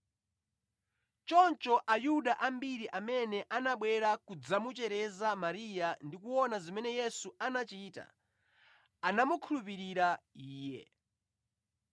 Choncho Ayuda ambiri amene anabwera kudzamuchereza Mariya ndi kuona zimene Yesu anachita anamukhulupirira Iye.